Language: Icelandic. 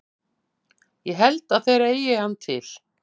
Ég held að þeir eigi hann til.